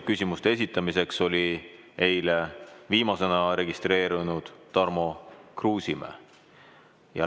Küsimuste esitamiseks oli eile viimasena registreerunud Tarmo Kruusimäe.